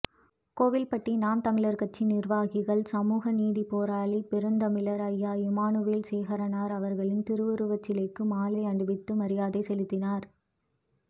கோவில்பட்டி நாம்தமிழர்கட்சி நிர்வாகிகள் சமூகநீதிப்போராளி பெருந்தமிழர் ஐயா இமானுவேல் சேகரனார் அவர்களின் திருவுருவச்சிலைக்கு மாலை அணிவித்து மரியாதை செலுத்தினர்